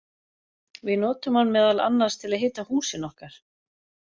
Við notum hann meðal annars til að hita húsin okkar!